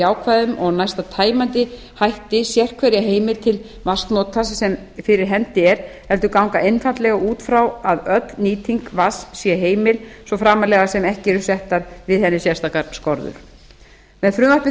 jákvæðum og næsta tæmandi hætti sérhverja heimild til vatnsnota sem fyrir hendi er heldur ganga einfaldlega út frá að öll nýting vatns sé heimil svo framarlega sem ekki eru settar við henni sérstakar skorður með þessu frumvarpi